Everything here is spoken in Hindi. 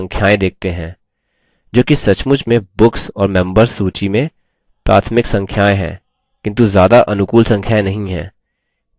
जोकि सचमुच में books और members सूची में प्राथमिक संख्याएँ हैं किन्तु ज़्यादा अनुकूल संख्याएँ नहीं हैं